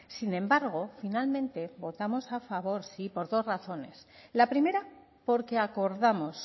sin embargo finalmente votamos a favor sí por dos razones la primera porque acordamos